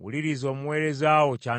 wuliriza omuweereza wo ky’anaayogera.